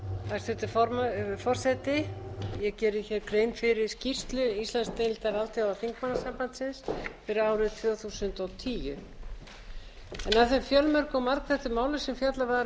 ég geri hér grein fyrir skýrslu íslandsdeildar alþjóðaþingmannasambandsins fyrir árið tvö þúsund og tíu af þeim fjölmörgu og margþættu málum sem fjallað var um á